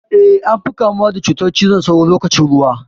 Eh, an fi kamuwa da cutar cizon sauron lokacin ruwa.